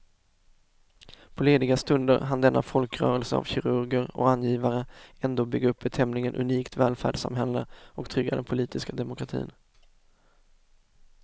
På lediga stunder hann denna folkrörelse av kirurger och angivare ändå bygga upp ett tämligen unikt välfärdssamhälle och trygga den politiska demokratin.